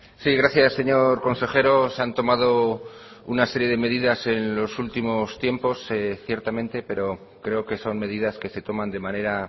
sí gracias señor consejero se han tomado una serie de medidas en los últimos tiempos ciertamente pero creo que son medidas que se toman de manera